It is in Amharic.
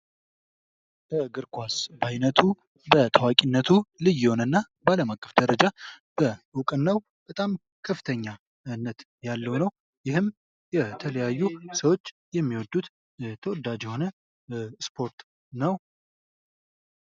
እግር ኳስ በዓይነቱ በታዋቂነቱ ልዩ የሆነ እና በአለም አቀፍ ደረጃ በ እውቅናው በጣም ከፍተኛነት ያለው ነው። ይህም የተለያዩ ሰዎች የሚወዱት ተወዳጅ የሆነ ስፖርት ነው።